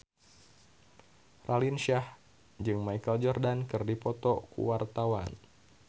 Raline Shah jeung Michael Jordan keur dipoto ku wartawan